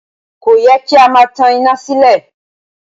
Kò yẹ kí a máa tan iná sílẹ̀